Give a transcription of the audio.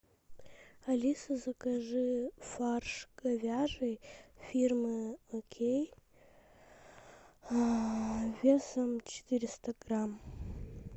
алиса закажи фарш говяжий фирмы окей весом четыреста грамм